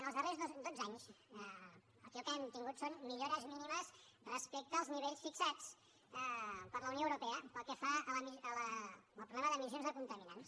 en els darrers dotze anys aquí el que hem tingut són millores mínimes respecte als nivells fixat per la unió europea pel que fa al problema d’emissions de contaminants